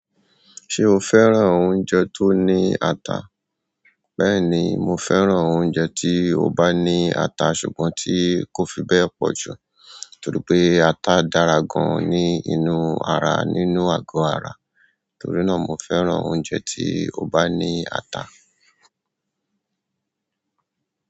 Ṣé o fẹ́ràn oúnjẹ tó ní ata? Bẹ́ẹ̀ni, mo fẹ́ràn oúnjẹ tí ó bá ní ata ṣùgbọ́n tí kò fi bẹ́ẹ̀ pọ̀ jù torí pé ata dára gaan ní inú ara nínú àgọ́ ara. Torí na mo fẹ́ràn oúnjẹ ti o ba ni ata.